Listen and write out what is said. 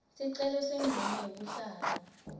sicelo semvumo yekuhlala